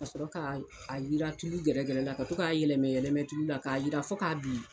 Ka sɔrɔ ka a yiran tulu gɛrɛgɛrɛ la ka to k'a yɛlɛmɛ yɛlɛmɛ tulu la k'a yiran fo k'a bilen.